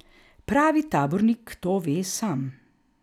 Pravi tabornik to ve sam.